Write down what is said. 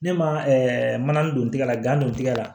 Ne ma mana ni don tigɛ la gan don tigɛ la